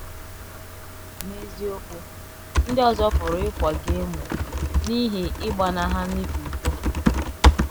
N’eziokwu, ndị ọzọ pụrụ ịkwa gị emo n’ihi ịgbanaghana ịkwa iko.